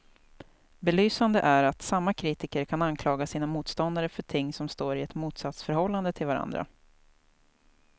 Belysande är att samma kritiker kan anklaga sina motståndare för ting som står i ett motsatsförhållande till varandra.